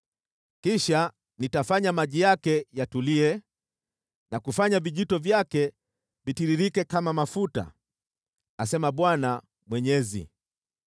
Kisha nitafanya maji yake yatulie na kufanya vijito vyake vitiririke kama mafuta, asema Bwana Mwenyezi.